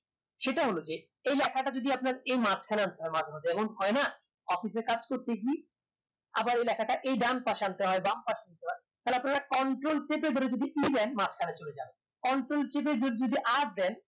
সেটা হলো যে এই লেখাটা যদি আপনার এই মাঝ খানে একটা মাঝে যেমন হয়না office এর কাজ করতেগি আবার এই লেখাটা দেন পাশে আনতে হয় থালে আপনারা control দিয়ে যদি ই যান control টিপে যদি আর দেন